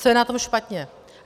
Co je na tom špatně?